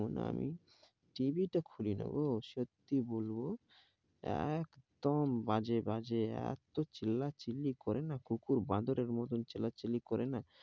শোন্ আমি, tv টা খুলি না গো, সত্যি কি বলবো? এক দম বাজে বাজে, এত চিল্লা চিল্লি করে না, কুকুর বাঁদরের মতো চিল্লা চিল্লি করে না,